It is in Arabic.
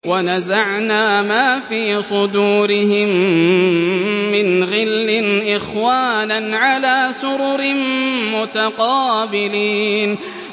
وَنَزَعْنَا مَا فِي صُدُورِهِم مِّنْ غِلٍّ إِخْوَانًا عَلَىٰ سُرُرٍ مُّتَقَابِلِينَ